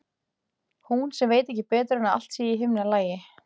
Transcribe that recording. Hún sem veit ekki betur en að allt sé í himnalagi.